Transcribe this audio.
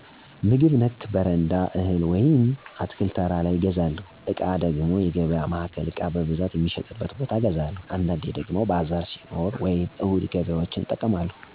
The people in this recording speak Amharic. - ምግብ ነክ በረንዳ እህል ወይም አትክልት ተራ ላይ እገዛለሁ። - ዕቃ ደሞ የገበያ ማዕከል ዕቃ በብዛት ሚሸጥበት ቦታ እገዛለሁ። - አንዳንዴ ደሞ ባዛር ሲኖር ወይም እሁድ ገበያዎችን እጠቀማለሁ።